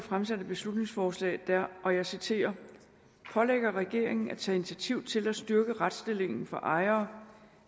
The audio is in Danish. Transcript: fremsat et beslutningsforslag der og jeg citerer pålægger regeringen at tage initiativ til at styrke retsstillingen for ejere